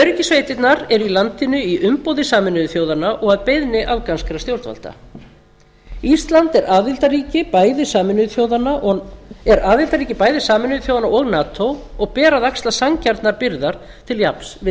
öryggissveitirnar eru í landinu í umboði sameinuðu þjóðanna og að beiðni afganskra stjórnvalda ísland er aðildarríki bæði á og nato og ber að axla sanngjarnar byrðar til jafns við